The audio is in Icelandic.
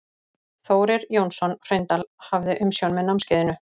Þórir Jónsson Hraundal hafði umsjón með námskeiðinu.